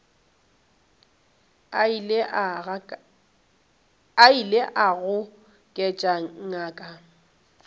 a ile a goketša ngaka